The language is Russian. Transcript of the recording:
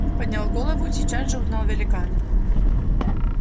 поднял голову и сейчас же узнал великана